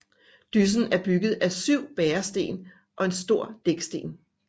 Dyssen er bygget af syv bæresten og en stor dæksten